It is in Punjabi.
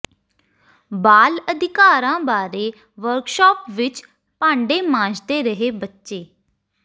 ਬਾਲ ਅਧਿਕਾਰਾਂ ਬਾਰੇ ਵਰਕਸ਼ਾਪ ਵਿੱਚ ਭਾਂਡੇ ਮਾਂਜਦੇ ਰਹੇ ਬੱਚੇ